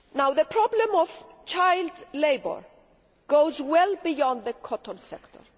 The problem of child labour goes well beyond the cotton sector.